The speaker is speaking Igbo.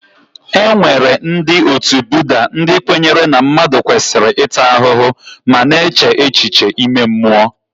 E nwere ndị otu Budda, ndị kwenyere na mmadụ kwesịrị ịta ahụhụ ma na-eche echiche ime mmụọ.